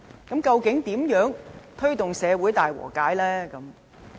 如何推動社會大和解？